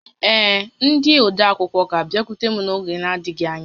Ee, ndị odeakwụkwọ ga-abịakwute m n'oge adịghị ányá